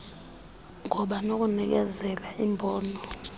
ngoba nokunikezela imbono